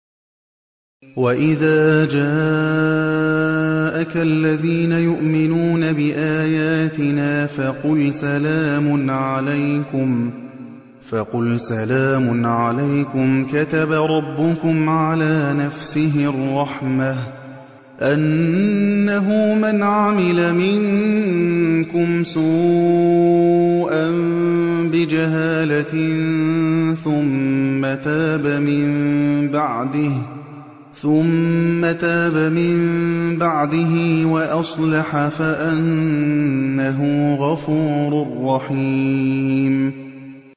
وَإِذَا جَاءَكَ الَّذِينَ يُؤْمِنُونَ بِآيَاتِنَا فَقُلْ سَلَامٌ عَلَيْكُمْ ۖ كَتَبَ رَبُّكُمْ عَلَىٰ نَفْسِهِ الرَّحْمَةَ ۖ أَنَّهُ مَنْ عَمِلَ مِنكُمْ سُوءًا بِجَهَالَةٍ ثُمَّ تَابَ مِن بَعْدِهِ وَأَصْلَحَ فَأَنَّهُ غَفُورٌ رَّحِيمٌ